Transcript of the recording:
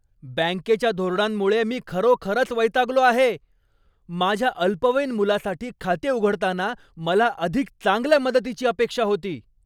बँकेच्या धोरणांमुळे मी खरोखरच वैतागलो आहे. माझ्या अल्पवयीन मुलासाठी खाते उघडताना मला अधिक चांगल्या मदतीची अपेक्षा होती.